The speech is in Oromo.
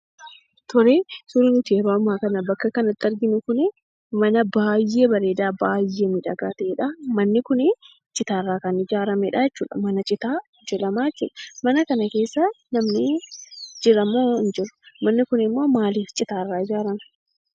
Tolee, suurri nuti yeroo ammaa kana bakka kanatti arginu kunii mana baay'ee bareedaa, baay'ee miidhagaa ta'edhaa. Manni kunii citaarraa kan ijaaramedhaa jechuudha. Mana citaa jedhamaa jechuudha. Mana kana keessa namni jiramoo hin jiru? manni kunimmoo maaliif citaarraa ijaarame?